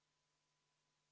Panen lõpphääletusele eelnõu 605.